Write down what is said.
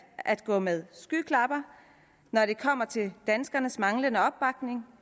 at gå med skyklapper når det kommer til danskernes manglende opbakning